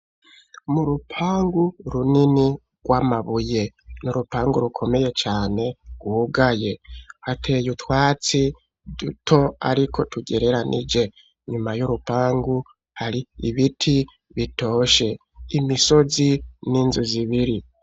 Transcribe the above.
Mu rupangu runini rw'amabuye, n'urupangu rukomeye cane rwugaye, hateye utwatsi duto ariko tugereranije, nyuma y'urupangu hari ibiti bitoshe imisozi n'inzu zibiri.